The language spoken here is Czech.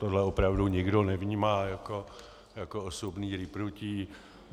Tohle opravdu nikdo nevnímá jako osobní rýpnutí.